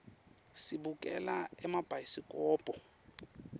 sibukela emabhayisikobho